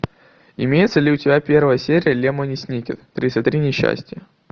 имеется ли у тебя первая серия лемони сникет тридцать три несчастья